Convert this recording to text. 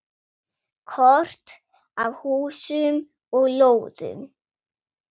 Kort af húsum og lóðum.